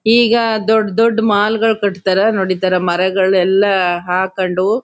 ಈಗ ದೊಡ್ ದೊಡ್ ಮಾಲ್ಗಳ್ ಕಟ್ತಾವರೆ ನೋಡ್ ಇತರ ಮರಗಳ್ನೆಲ್ಲ ಹಾಕೊಂಡು--